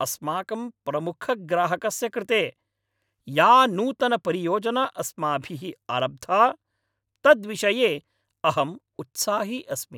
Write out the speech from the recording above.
अस्माकं प्रमुखग्राहकस्य कृते या नूतनपरियोजना अस्माभिः आरब्धा, तद्विषये अहम् उत्साही अस्मि।